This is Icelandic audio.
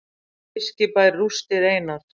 Fiskibær rústir einar